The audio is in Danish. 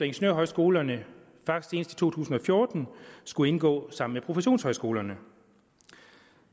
ingeniørhøjskolerne faktisk to tusind og fjorten skulle gå sammen med professionshøjskolerne